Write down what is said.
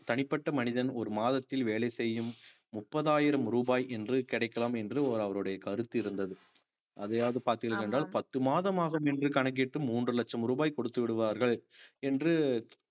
தனிப்பட்ட மனிதன் ஒரு மாதத்தில் வேலை செய்யும் முப்பதாயிரம் ரூபாய் என்று கிடைக்கலாம் என்று ஒரு அவருடைய கருத்து இருந்தது அதையாவது பார்த்தீர்கள் என்றால் பத்து மாதம் ஆகும் என்று கணக்கிட்டு மூன்று லட்சம் ரூபாய் கொடுத்து விடுவார்கள் என்று